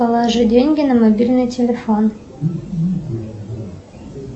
положи деньги на мобильный телефон